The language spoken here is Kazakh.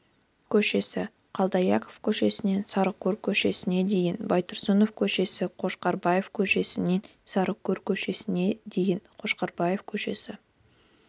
көшесі қалдыаяқов көшесінен сарыкөл көшесіне дейін байтұрсынов көшесі қошқарбаев көшесінен сарыкөл көшесіне дейін қошқарбаев көшесі